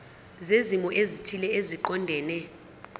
zezimo ezithile eziqondene